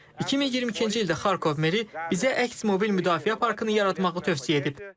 2022-ci ildə Xarkov meri bizə əks mobil müdafiə parkını yaratmağı tövsiyə edib.